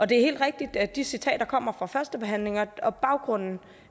det er helt rigtigt at de citater kommer fra førstebehandlingen og baggrunden